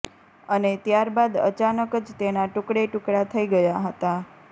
અને ત્યારબાદ અચાનક જ તેના ટૂકડે ટૂકડા થઈ ગયા હતા